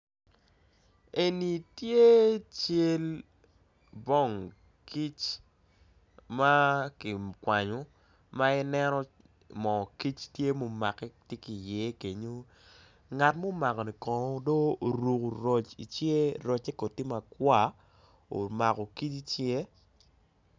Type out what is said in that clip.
Eni tye cal bong kic makikwanyo ma i neno mo kic tye momake tye ki iye kenyo ngat mo makoni kono do oruko roc i cinge rocce kono tye makwar omako kic icinge.